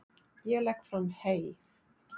Ég legg fram hey.